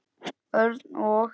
Örn og